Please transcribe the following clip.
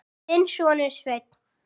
Þinn sonur, Sveinn.